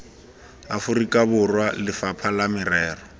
aforika borwa lefapha la merero